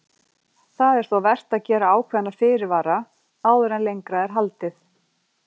Það er þó vert að gera ákveðna fyrirvara áður en lengra er haldið.